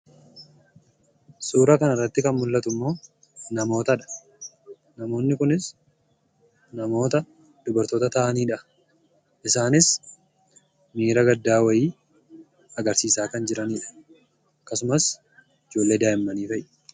Suura kana irratti kan mul'atu immoo, namootadha. Namoonni kunis namoota dubartoota ta'aniidha. Isaanis miira gaddaa wayii agarsiisaa kan jiranidha akkasumas ijoollee daa'immanii fa'i.